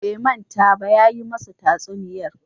Bai manta ba, ya yi musu tatsuniyar